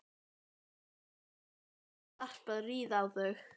Já, ég hef svo sannarlega varpað rýrð á þau.